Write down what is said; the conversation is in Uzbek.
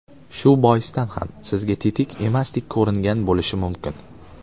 Shu boisdan ham sizga tetik emasdek ko‘ringan bo‘lishi mumkin.